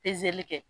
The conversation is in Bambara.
Pezeli kɛ